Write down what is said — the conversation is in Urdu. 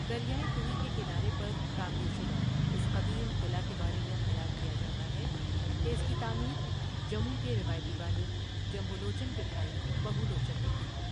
دریائے توی کے کنارے پر تعمیر شدہ، اس قدیم قلعہ کے بارے میں خیال کیا جاتا ہے کہ اس کی تعمیر جموں کے روایتی بانی جمبو لوچن کے بھائی بہو لوچن نے کی تھی۔